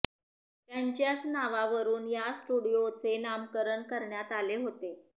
त्यांच्याच नावावरुन या स्टुडिओचे नामकरण करण्यात आले होते